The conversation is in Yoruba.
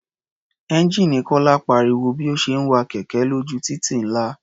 Ẹ́ńjíìnì Kọ́lá pariwo bí ó ṣe ń wa kẹ̀kẹ́ lójú títì ńlá.